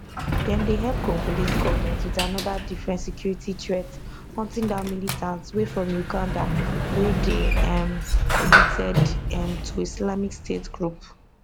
dem dey help congolese goment with anoda different security threat hunting down militants wey from uganda wey dey um connected um to islamic state group